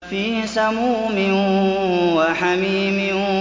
فِي سَمُومٍ وَحَمِيمٍ